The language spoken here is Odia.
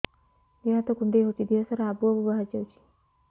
ଦିହ ହାତ କୁଣ୍ଡେଇ ହଉଛି ଦିହ ସାରା ଆବୁ ଆବୁ ବାହାରି ଯାଉଛି